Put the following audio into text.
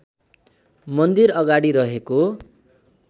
मन्दिर अगाडि रहेको